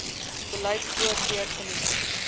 beleid voorkeur geniet